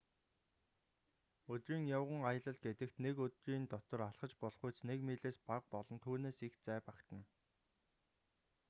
өдрийн явган аялал гэдэгт нэг өдрийн дотор алхаж болохуйц нэг милээс бага болон түүнээс их зай багтана